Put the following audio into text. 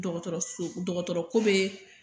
Dɔgɔtɔrɔso dɔgɔtɔrɔKo be